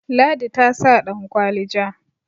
ladi ta sa dankwali ja